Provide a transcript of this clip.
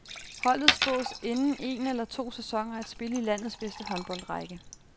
Holdet spås inden en eller to sæsoner at spille i landets bedste håndboldrække.